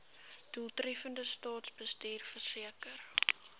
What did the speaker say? doeltreffende staatsbestuur verseker